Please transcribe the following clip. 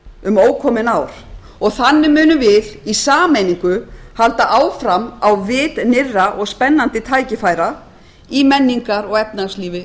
um ókomin ár og þannig munum við í sameiningu halda áfram á vit nýrra og spennandi tækifæra í menningar og efnahagslífi